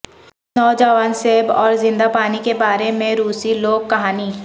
نوجوان سیب اور زندہ پانی کے بارے میں روسی لوک کہانی